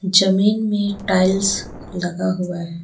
जमीन में टाइल्स लगा हुआ है।